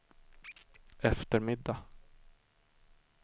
eftermiddag